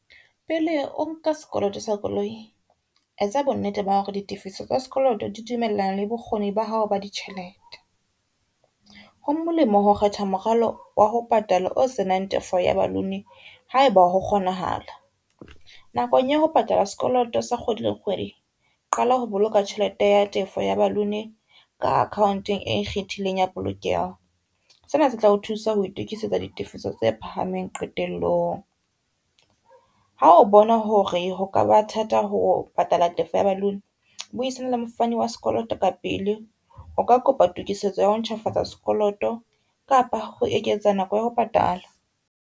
Pele o nka sekoloto sa koloi, etsa bonnete ba hore di tifiso tsa sekoloto di dumellana le bokgoni ba hao ba ditjhelete. Ho molemo ho kgetha moralo wa ho patala o senang tefo ya balloon ha eba ho kgonahala, nakong ya ho patala sekoloto sa kgwedi le kgwedi, qala ho boloka tjhelete ya tefo ya balloon ka account-eng e ikgethileng ya polokeho, sena se tla o thusa ho itukisetsa ditefiso tse phahameng qetellong. Ha o bona hore ho ka ba thata ho patala tefo ya balloon buisana le mofani wa sekoloto ka pele, o ka kopa tokisetso ya ho ntjhafatsa sekoloto kapa ho eketsa nako ya ho patala.